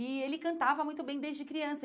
E ele cantava muito bem desde criança.